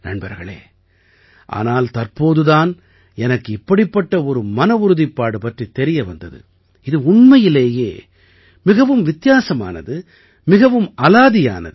நண்பர்களே ஆனால் தற்போது தான் எனக்கு இப்படிப்பட்ட ஒரு மனவுறுதிப்பாடு பற்றித் தெரிய வந்தது இது உண்மையிலேயெ மிகவும் வித்தியாசமானது மிகவும் அலாதியானது